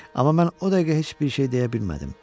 Amma mən o dəqiqə heç bir şey deyə bilmədim.